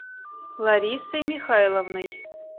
ларисой михайловной